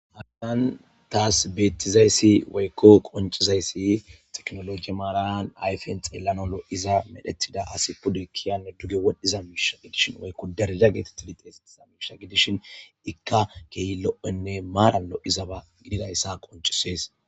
habadan taas beettizayssi weykko qoncizayssi teknologi maaranan ayfen xeellanolo iza medhethida asi pude kiyane duge wodhdhiza miisha gidishin woykko daraja geeti tilixeesettiza miisha gidishin ikka kehi lo7enne maarallo izaba gididayssa qoncisees